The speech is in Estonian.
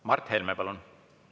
Mart Helme, palun!